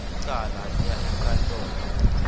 licala liya enkantolo